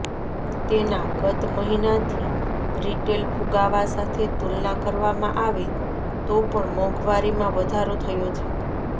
તેના ગત મહીનાથી રિટેલ ફૂગાવા સાથે તુલના કરવામાં આવે તો પણ મોંઘવારીમાં વધારો થયો છે